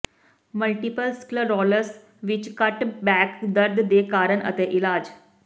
multiple sclerosis ਵਿਚ ਘੱਟ back ਦਰਦ ਦੇ ਕਾਰਨ ਅਤੇ ਇਲਾਜ